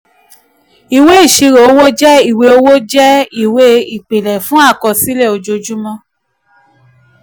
ìwé ìṣirò owó jẹ́ ìwé owó jẹ́ ìwé ìpìlẹ̀ fún àkọsílẹ̀ ojoojúmọ́.